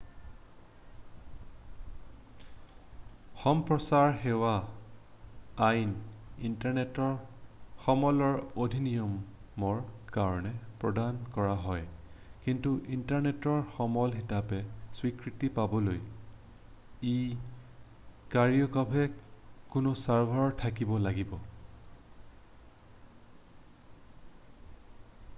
সম্প্ৰচাৰ সেৱা আইন ইণ্টাৰনেটৰ সমলৰ অধিনিয়মৰ কাৰণে প্ৰদান কৰা হয় কিন্তু ইণ্টাৰনেটৰ সমল হিচাপে স্বীকৃতি পাবলৈ ই কায়িকভাৱে কোনো ছাৰ্ভাৰত থাকিব লাগিব